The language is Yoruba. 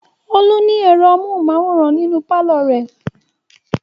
Olú ní ẹ̀rọ amóhùmáwòhán nínú pálọ̀ rẹ̀.